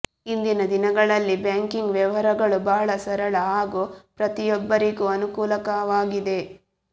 ಇಂದಿನ ದಿನಗಳಲ್ಲಿ ಬ್ಯಾಂಕಿಂಗ್ ವ್ಯವಹಾರಗಳು ಬಹಳ ಸರಳ ಹಾಗೂ ಪ್ರತಿಯೊಬ್ಬರಿಗೂ ಅನುಕೂಲಕವಾಗಿದೆ